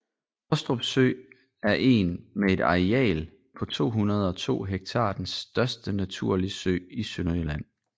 Hostrup Sø er en med et areal på 202 hektar den største naturlige sø i Sønderjylland